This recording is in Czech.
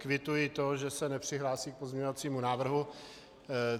Kvituji to, že se nepřihlásí k pozměňovacímu návrhu.